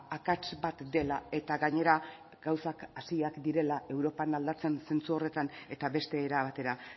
akats bat dela eta gainera gauzak hasiak direla europan aldatzen zentzu horretan eta beste era batera